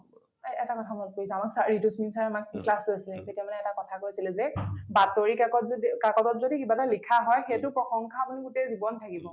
এই এটা কথা মনত পৰিছে আমাক sir ঋতুস্মিন sir এ আমাক class লৈছিলে , তেতিয়া মানে এটা কথা কৈছিল যে বাতৰি কাকত যদি কাকত যদি কিবা এটা লিখা হয় সেইটো প্ৰশংসা আপুনি গোটেই জীৱন থাকিব ।